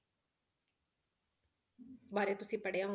ਬਾਰੇ ਤੁਸੀਂ ਪੜ੍ਹਿਆ,